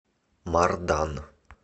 мардан